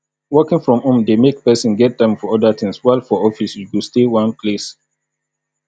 working from home de make persin get time for other things while for office you go stay one place